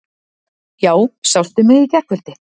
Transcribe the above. Já, sástu mig í gærkvöldi?